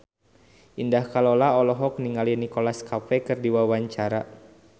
Indah Kalalo olohok ningali Nicholas Cafe keur diwawancara